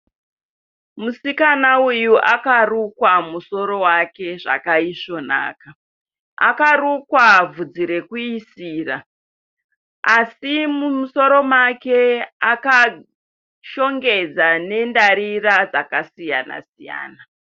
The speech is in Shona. Musikana uyu akarukwa musoro wake zvakaisvonaka. Akarukwa bvudzi rekuisira asi musoro make akashongedza nendarira dzakasiyana siyana.